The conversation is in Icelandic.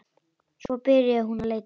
Svo byrjaði hún að leita.